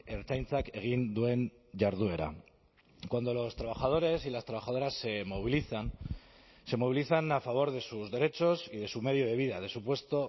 ertzaintzak egin duen jarduera cuando los trabajadores y las trabajadoras se movilizan se movilizan a favor de sus derechos y de su medio de vida de su puesto